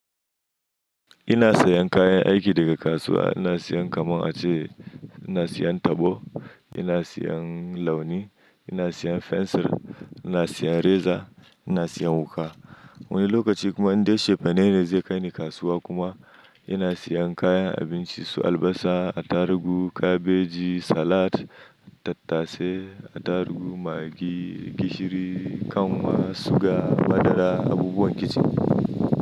Ina sayan kayan aiki daga kasuwa, ina siyan kamar a ce ina siyan tabo, ina siyan launi, ina siyan fensir, ina siyan reza, ina siyan wuƙa. Wani lokaci kuma in dai chefane ne zai kai ni kasuwa kuma ina siyan kayan abinci su albasa, atarugu, kabeji, salat, tattase, atarugu, maggi, gishiri, kanwa, suga, madara, abubuwan kicin.